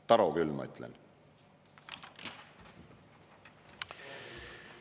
Taro küll, ma ütlen!